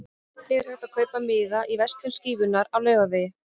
Einnig er hægt að kaupa miða í verslun Skífunnar á Laugavegi.